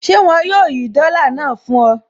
Ṣé wọn yóò yí dọ́là náà fún ọ?